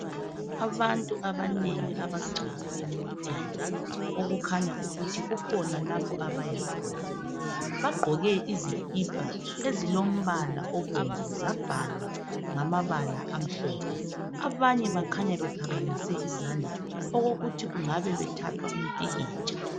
Abantu abanengi abagcwele emoteni okukhanya ukuthi kukhona abayakhona. Bagqoke izikhipha ezilombala obomvu zabhalwa ngamabala amhlophe. Abanye baphakamise izandla bathatha umpikitsha.